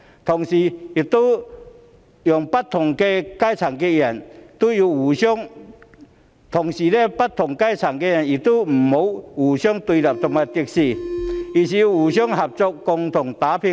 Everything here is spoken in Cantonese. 同時，不同階層的人亦不要互相對立和敵視，而是要互相合作，共同打拼。